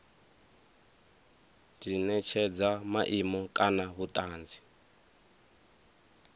di netshedza maimo kana vhutanzi